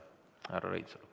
Härra Reinsalu.